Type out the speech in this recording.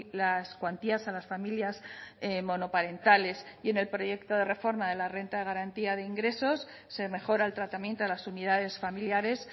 las cuantías a las familias monoparentales y en el proyecto de reforma de la renta de garantía de ingresos se mejora el tratamiento a las unidades familiares